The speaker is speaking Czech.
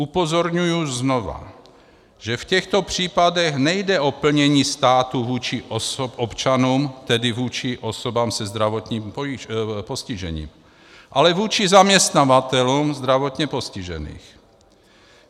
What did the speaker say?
Upozorňuji znovu, že v těchto případech nejde o plnění státu vůči občanům, tedy vůči osobám se zdravotním postižením, ale vůči zaměstnavatelům zdravotně postižených.